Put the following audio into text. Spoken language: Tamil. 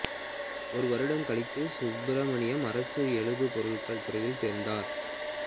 ஒரு வருடம் கழித்து சுப்பிரமணியம் அரசு எழுது பொருட்கள் துறையில் சேர்ந்தார்